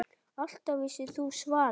Alltaf vissir þú svarið.